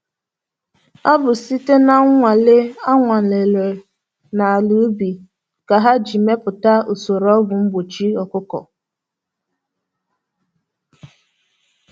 Ọ bụ site na nnwale a nwalere na ala ubi ka ha ji meputa usoro ọgwu mgbochi ọkụkọ